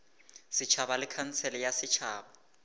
setšhaba le khansele ya setšhaba